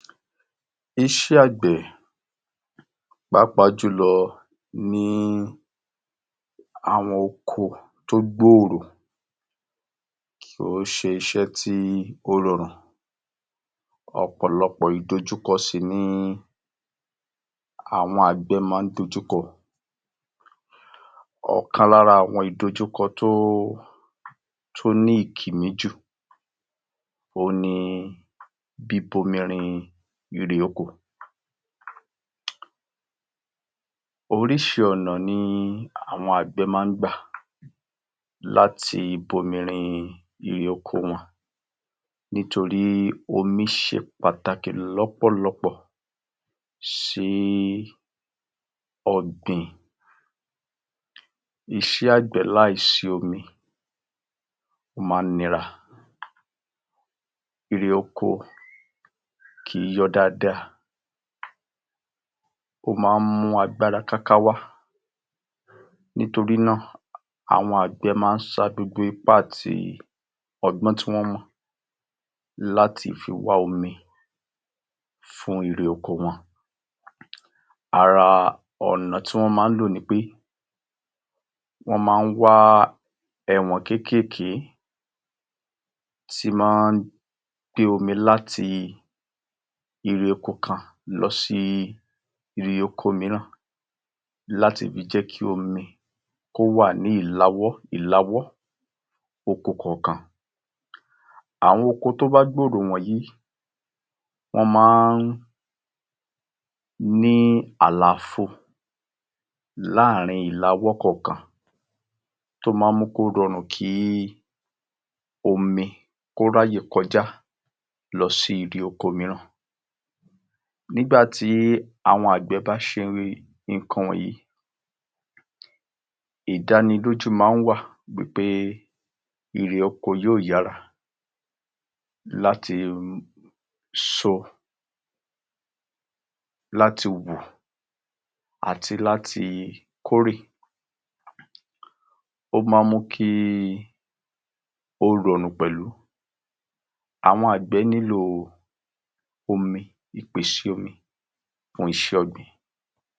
Iṣowò àti gbigbe eré oko tàbí ọjà láti ibìkan sí ibòmíràn pápá jùlọ ní orílẹ̀ èdè Nàìjíríà. Èyí jẹ́ ọ̀nà tí àwọn oníṣówó gba láti gbé ọjà wọn, ó le jẹ́ láti oko lọ́dún àwọn àbẹ lọ síbi tí wọn ó ti gbé tàwọn arín ìlú tàbí ọjà tí wọn ó ti gbé tàwọn. Iṣẹ́ yìí rọrùn nítorí pé pé o nílòìṣe agbára, o nílò àkókò, o nílò ọ̀nà tó dára, o nílò ohun irinṣè, ohun ta lè lù bí i mọ́tò bí i ọkọ láńlá láti fi kó àwọn ọjà wọ̀nyí ẹrú wọ̀nyí, kí wọn má ba bàjẹ́ nítorí bí ọ̀nà bá da tàbí tí kò bá sí ohun èlò láti fi kó àwọn ọjà wọ̀nyí, wọn máa ń bàjẹ́ nígbà tí àgbẹ bá ni eré oko tí kò bá rí ọkọ tàbí ọ̀nà tó dára láti fi gbé lọ síbi tí o yóò gbé tàwọn tàbí lówọ́n, ó máa mú kí eré oko kó bàjẹ́. O nílò ọ̀nà tó dára, o nílò iṣẹ́ takuntakun, o nílò ìmójútó, o sì nílò àtìlẹyìn pápá jùlọ ní orílẹ̀ èdè Nàìjíríà.